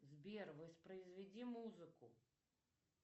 сбер воспроизведи музыку